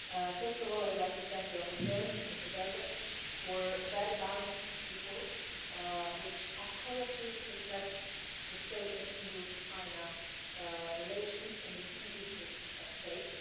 First of all, I would like to thank the rapporteur, Mr Belder, for a very balanced report which accurately reflects the state of EU China relations and the key issues at stake.